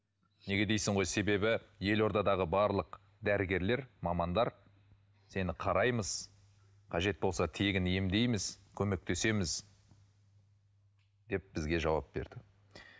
неге дейсің ғой себебі елордадағы барлық дәрігерлер мамандар сені қараймыз қажет болса тегін емдейміз көмектесеміз деп бізге жауап берді